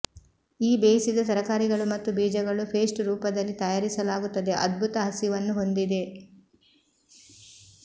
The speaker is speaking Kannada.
ಈ ಬೇಯಿಸಿದ ತರಕಾರಿಗಳು ಮತ್ತು ಬೀಜಗಳು ಪೇಸ್ಟ್ ರೂಪದಲ್ಲಿ ತಯಾರಿಸಲಾಗುತ್ತದೆ ಅದ್ಭುತ ಹಸಿವನ್ನು ಹೊಂದಿದೆ